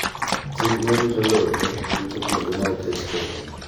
Chik ma rito lope rito kuonde ma oket tenge.